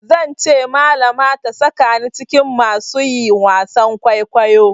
Zan ce malama ta sakani cikin masu yi wasan kwaikwayo.